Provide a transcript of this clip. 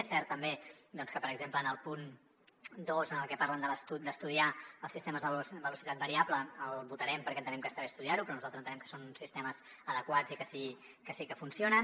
és cert també que per exemple el punt dos en el que parlen d’estudiar els sistemes de velocitat variable el votarem perquè entenem que està bé estudiar ho però nosaltres entenem que són sistemes adequats i que sí que funcionen